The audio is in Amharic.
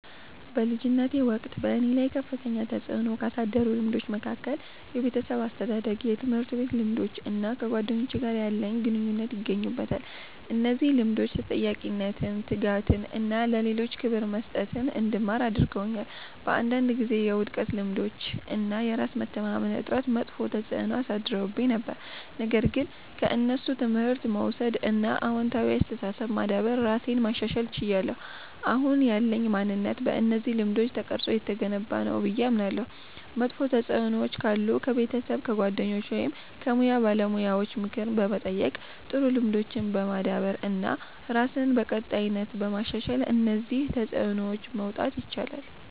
በልጅነቴ ወቅት በእኔ ላይ ከፍተኛ ተጽዕኖ ካሳደሩት ልምዶች መካከል የቤተሰብ አስተዳደግ፣ የትምህርት ቤት ልምዶች እና ከጓደኞቼ ጋር ያለኝ ግንኙነት ይገኙበታል። እነዚህ ልምዶች ተጠያቂነትን፣ ትጋትን እና ለሌሎች ክብር መስጠትን እንድማር አድርገውኛል። በአንዳንድ ጊዜ የውድቀት ልምዶች እና የራስ መተማመን እጥረት መጥፎ ተጽዕኖ አሳድረውብኝ ነበር፣ ነገር ግን ከእነሱ ትምህርት በመውሰድ እና አዎንታዊ አስተሳሰብ በማዳበር ራሴን ማሻሻል ችያለሁ። አሁን ያለኝ ማንነት በእነዚህ ልምዶች ተቀርጾ የተገነባ ነው ብዬ አምናለሁ። መጥፎ ተጽዕኖዎች ካሉ ከቤተሰብ፣ ከጓደኞች ወይም ከሙያ ባለሙያዎች ምክር በመጠየቅ፣ ጥሩ ልምዶችን በማዳበር እና ራስን በቀጣይነት በማሻሻል ከእነዚህ ተጽዕኖዎች መውጣት ይቻላል።